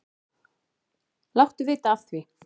Láttu vita af því.